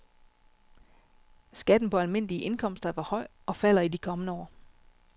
Skatten på almindelige indkomster er for høj og falder i de kommende år.